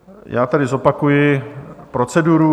Já tedy zopakuji proceduru.